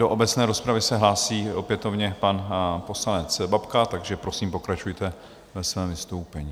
Do obecné rozpravy se hlásí opětovně pan poslanec Babka, takže prosím, pokračujte ve svém vystoupení.